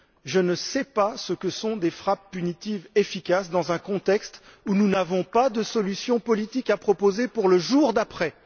Je ne sais pas ce que sont des frappes punitives efficaces, dans un contexte où nous n'avons pas de solution politique à proposer pour le jour d'après.